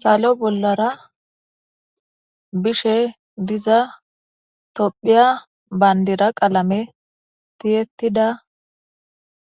salo bollara bishe diza tophiya bayndira qalame tiyettida